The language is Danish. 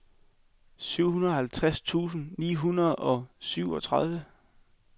syvoghalvtreds tusind ni hundrede og syvogtredive